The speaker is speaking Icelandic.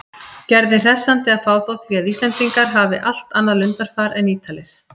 Gerði hressandi að fá þá því að Íslendingar hafi allt annað lundarfar en Ítalir.